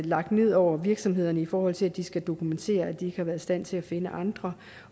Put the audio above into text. lagt ned over virksomhederne i forhold til at de skal dokumentere at de ikke har været i stand til at finde andre